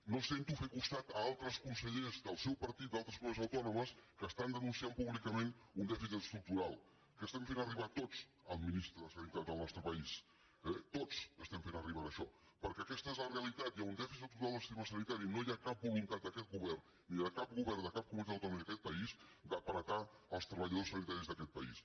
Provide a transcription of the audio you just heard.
no els sento fer costat a altres consellers del seu partit d’altres comunitats autònomes que estan denunciant públicament un dèficit estructural que estem fent arribar tots al ministre de sanitat del nostre país eh tots estem fent arribar això perquè aquesta és la realitat hi ha un dèficit estructural del sistema sanitari i no hi ha cap voluntat d’aquest govern ni de cap govern de cap comunitat autònoma ni d’aquest país d’ apretar els treballadors sanitaris d’aquest país